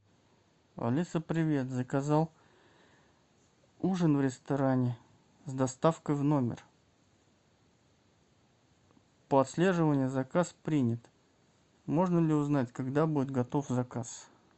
алиса привет заказал ужин в ресторане с доставкой в номер по отслеживанию заказ принят можно ли узнать когда будет готов заказ